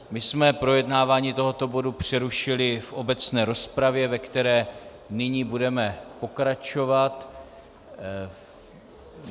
My jsme projednávání tohoto bodu přerušili v obecné rozpravě, ve které nyní budeme pokračovat.